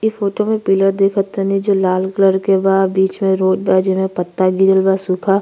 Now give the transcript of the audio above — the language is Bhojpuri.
इ फोटो में पिलर दिख तनी जो लाल कलर के बा। बीच में रोड बा जेमें पत्ता गिरल बा सूखा --